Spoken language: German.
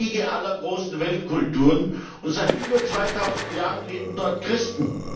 Es war die Wiege aller großen Weltkulturen, und seit über zweitausend Jahren leben dort Christen.